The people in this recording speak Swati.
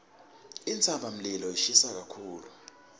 intsabamlilo ishisa kakhulu